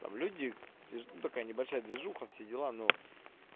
там люди ну такая небольшая движуха все дела но